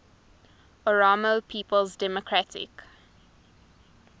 oromo people's democratic